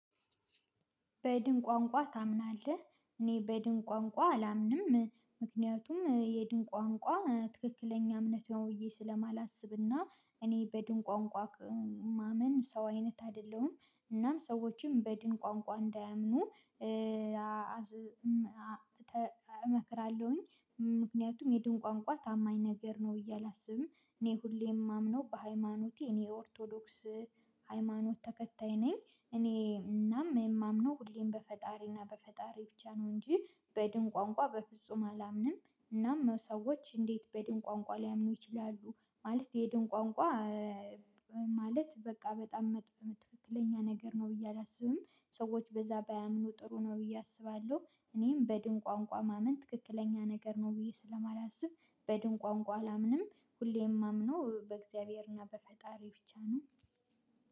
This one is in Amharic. በድን ቋንቋ ታምናለህ? እኔ በድን ቋንቋ አላምንም ምክንያቱም የድን ቋንቋ ትክክለኛ እምነት ነው ብዬ ስለማላስብና እኔ በድን ቋንቋ ማምን ሰው አይነት አይደለሁም እናም ሰዎችም በድን ቋንቋ እንዳያምኑ እመክራለሁኝ ምክንያቱም የድን ቋንቋ ታማኝ ነገር ነው ብዬ እላስብም እኔ ሁሌ የማምነው በሃይማኖቴ እኔ ኦርቶዶክስ ሃይማኖት ተከታይ ነኝ እኔ እናም የማምነው ሁሌም በፈጣሪና በፈጣሪ ብቻ ነው እንጂ በድን ቋንቋ በፍጹም አላምንም እናም ሰዎች እንዴት በድን ቋንቋ ሊያምኑ ይችላሉ ማለት የድን ቋንቋ ማለት በቃ በጣም ትክክለኛ ነገር ነው ብዬ አላስብም ሰዎች በዛ ባያምኑ ጥሩ ነው ብዬ አስባለሁ እኔም በድን ቋንቋ ማመን ትክክለኛ ነገር ነው ብዬ ስለማላስብ በድን ቋንቋ አላምንም ሁሌም ማምነው በእግዚያብሔር እና በፈጣሪ ብቻ ነው